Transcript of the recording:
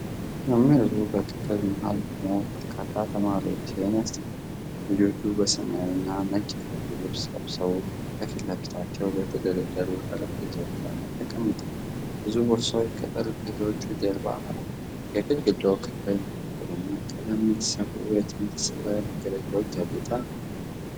መምህሩ በክፍል መሃል ቆሞ በርካታ ተማሪዎችን ያስተምራል። ልጆቹ ሰማያዊና ነጭ የደንብ ልብስ ለብሰው ከፊት ለፊታቸው በተደረደሩ ጠረጴዛዎች ላይ ተቀምጠዋል። ብዙ ቦርሳዎች ከጠረጴዛዎቻቸው ጀርባ አሉ። የግድግዳው ክፍል በደማቅ ቀለም በተሠሩ የትምህርት ሥዕላዊ መግለጫዎች ያጌጠ ነው።